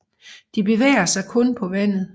De bevæger sig kun på vandet